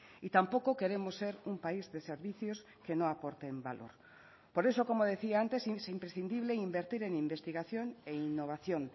y tampoco queremos ser un país de servicios que no aporten valor por eso como decía antes es imprescindible invertir en investigación e innovación